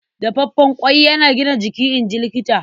Dafaffen ƙwai yana gina jiki, in ji Likita.